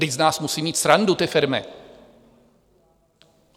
Vždyť z nás musí mít srandu ty firmy.